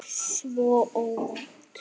Svo óvænt.